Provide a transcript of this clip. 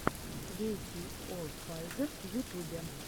квертийофазер в ютубе